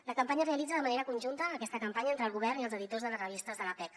la campanya es realitza de manera conjunta aquesta campanya entre el govern i els editors de les revistes de l’appec